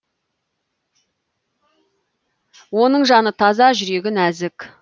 оның жаны таза жүрегі нәзік